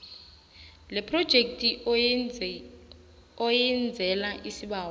lephrojekhthi oyenzela isibawo